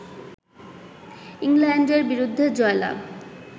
ইংল্যান্ডের বিরুদ্ধে জয়লাভ